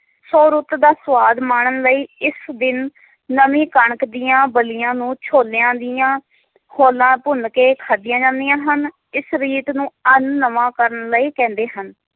ਸ਼ੋਰੁੱਤ ਦਾ ਸਵਾਦ ਮਾਨਣ ਲਈ ਇਸ ਦਿਨ ਨਵੀਂ ਕਣਕ ਦੀਆਂ ਬੱਲੀਆਂ ਨੂੰ ਛੋਲਿਆਂ ਦੀਆਂ ਖੋਲਾਂ ਭੁੰਨ ਕੇ ਖਾਦੀਆਂ ਜਾਂਦੀਆਂ ਹਨ ਇਸ ਰੀਤ ਨੂੰ ਐਨ ਨਵਾਂ ਕਰਨ ਲਈ ਕਹਿੰਦੇ ਹਨ